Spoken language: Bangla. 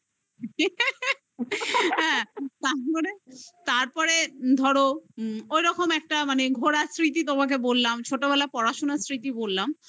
হ্যাঁ তারপরে ধরো ঐরকম একটা মানে ঘোড়ার স্মৃতি তোমাকে বললাম. ছোটবেলা পড়াশুনার স্মৃতি বললাম